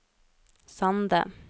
Sande